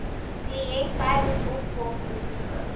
kliënt tydens opvolgbesoeke